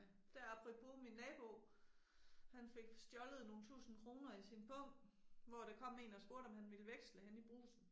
Der apropos min nabo. Han fik stjålet nogle tusinde kroner i sin pung hvor der kom en og spurgte om han ville veksle henne i Brugsen